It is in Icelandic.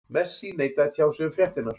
Messi neitaði að tjá sig um fréttirnar.